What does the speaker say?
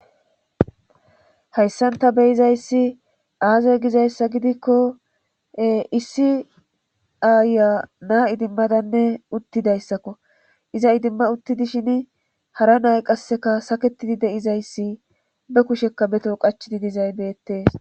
hayssanta beyizayssi aazay gizayssa gidikko issi aaya na idimmadanne uttidayssakko iza idimma uttidishin hara nay qasseka saketidi deizayssi be kushekka beto qachidi dizaybeetees